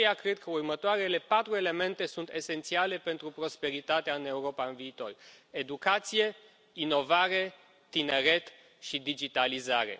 De aceea, cred că următoarele patru elemente sunt esențiale pentru prosperitatea în Europa în viitor educație, inovare, tineret și digitalizare.